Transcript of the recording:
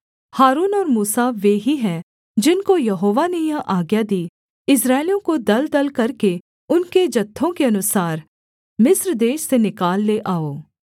हारून और मूसा वे ही हैं जिनको यहोवा ने यह आज्ञा दी इस्राएलियों को दलदल करके उनके जत्थों के अनुसार मिस्र देश से निकाल ले आओ